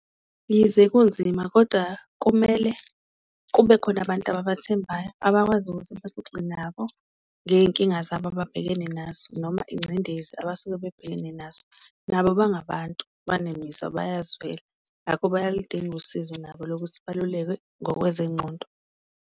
Yize kunzima koda kumele kube khona abantu babathembayo, abakwazi ukuthi baxoxe nabo ngeyinkinga zabo ababhekene nazo noma ingcindezi abasuke bebhekene nazo. Nabo bangabantu banemizwa bayazwela, ngakho bayaludinga usizo nabo lokuthi balulekwe ngokwezengqondo.